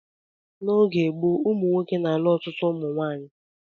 N'oge gboo ụmụ nwoke na-alụ ọtụtụ nwaanyị